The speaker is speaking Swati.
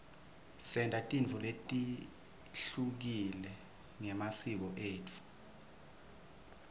senta tintfo letehlukile ngemasiko etfu